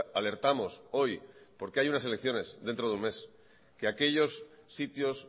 alertamos hoy porque hay unas elecciones dentro de un mes que aquellos sitios